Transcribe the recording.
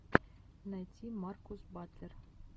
найти маркус батлер